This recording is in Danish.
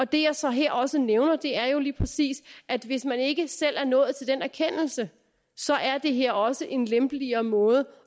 det jeg så her også nævner er jo lige præcis at hvis man ikke selv er nået til den erkendelse så er det her også en lempeligere måde